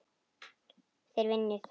Þeir vinna í þögn.